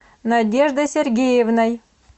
надеждой сергеевной